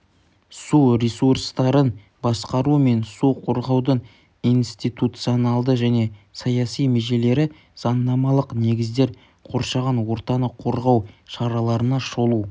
су ресурстарын басқару мен су қорғаудың институционалды және саяси межелері заңнамалық негіздер қоршаған ортаны қорғау шараларына шолу